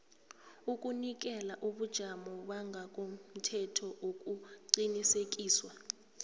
ukunikela ubujamo bangokomthethoukuqinisekiswa